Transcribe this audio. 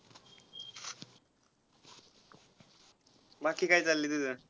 बाकी काय चाललय तुझं.